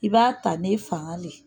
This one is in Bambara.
I b'a ta n'e fangan le.